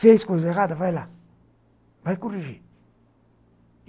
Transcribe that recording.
fez coisa errada, vai lá, vai corrigir.